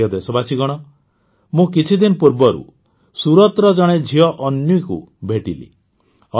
ମୋର ପ୍ରିୟ ଦେଶବାସୀଗଣ ମୁଁ କିଛିଦିନ ପୂର୍ବରୁ ସୁରତର ଜଣେ ଝିଅ ଅନ୍ୱୀକୁ ଭେଟିଲି